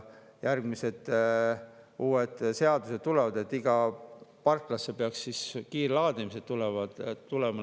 Järgmised uued seadused tulevad: igasse parklasse peaks kiirlaadimis tulema.